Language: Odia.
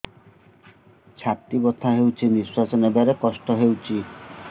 ଛାତି ବଥା ହଉଚି ନିଶ୍ୱାସ ନେବାରେ କଷ୍ଟ ହଉଚି